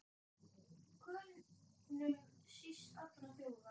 Könum síst allra þjóða!